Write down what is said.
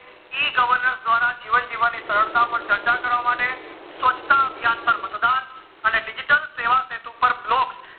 e governance દ્વારા જીવન જીવની સરળતા પર ચર્ચા કરવા માટે સ્વત્ચતા અભિયના માટે, મંડાણ અને digital સેવા હેતુ પર blog